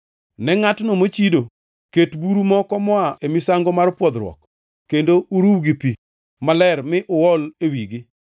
“Ne ngʼatno mochido, ket buru moko moa e misango mar pwodhruok kendo uruw gi pi maler mi uol e wigi.